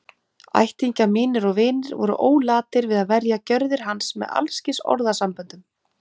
Ættingjar mínir og vinir voru ólatir við að verja gjörðir hans með alls kyns orðasamböndum.